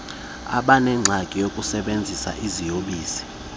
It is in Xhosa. abaneengxaki zokusebenzisa iziyobisi